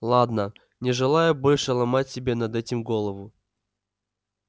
ладно не желаю больше ломать себе над этим голову